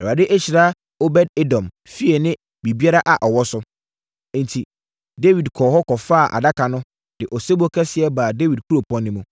Awurade ahyira Obed-Edom fie ne biribiara a ɔwɔ so.” Enti, Dawid kɔɔ hɔ kɔfaa Adaka no, de osebɔ kɛseɛ baa Dawid Kuropɔn no mu.